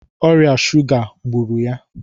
Ọrịa shuga gburu ya